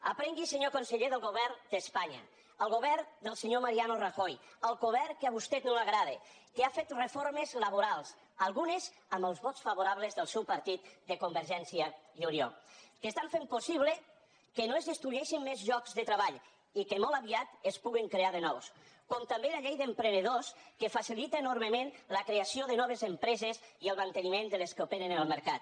aprengui senyor conseller del govern d’espanya el govern del senyor mariano rajoy el govern que a vostè no li agrada que ha fet reformes laborals algunes amb els vots favorables del seu partit de convergència i unió que fan possible que no es destrueixin més llocs de treball i que molt aviat se’n puguin crear de nous com també la llei d’emprenedors que facilita enormement la creació de noves empreses i el manteniment de les que operen en el mercat